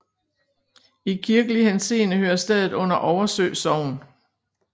I kirkelig henseende hører stedet under Oversø Sogn